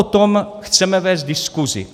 O tom chceme vést diskuzi.